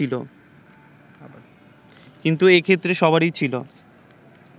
কিন্তু এ ক্ষেত্রে সবারই ছিল